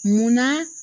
Munna